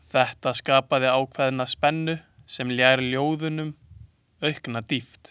Þetta skapaði ákveðna spennu sem ljær ljóðunum aukna dýpt.